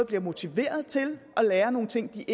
bliver motiveret til at lære nogle ting de